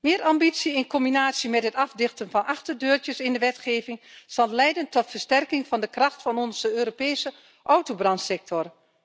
Meer ambitie, in combinatie met het afdichten van achterdeurtjes in de wetgeving, zal leiden tot versterking van de kracht van onze Europese autobranchesector.